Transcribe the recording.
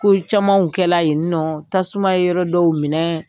Ko camanw kɛla yen nɔ, tasuma ye yɔrɔ dɔw minɛ